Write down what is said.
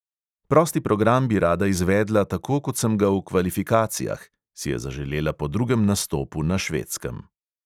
"Prosti program bi rada izvedla tako kot sem ga v kvalifikacijah," si je zaželela po drugem nastopu na švedskem.